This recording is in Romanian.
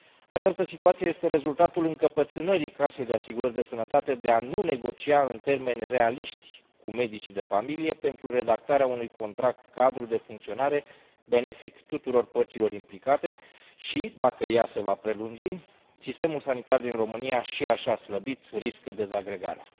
Această situație este rezultatul încăpățânării Casei de Asigurări de Sănătate de a nu negocia în termeni realiști cu medicii de familie pentru redactarea unui contract cadru de funcționare, benefic tuturor părților implicate, și, dacă ea se va prelungi, sistemul sanitar din România, și așa slăbit, riscă dezagregarea.